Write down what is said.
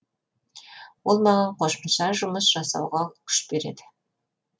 ол маған қосымша жұмыс жасауға күш береді